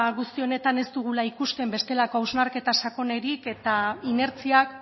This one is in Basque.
guzti honetan ez dugula ikusten bestelako hausnarketa sakonik eta inertziak